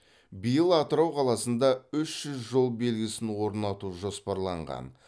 биыл атырау қаласында үш жүз жол белгісін орнату жоспарланған